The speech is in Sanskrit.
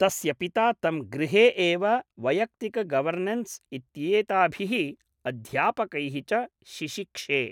तस्य पिता तं गृहे एव वैयक्तिकगवर्नेंस् इत्येताभिः, अध्यापकैः च शिशिक्षे।